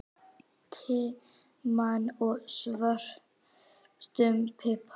timian og svörtum pipar.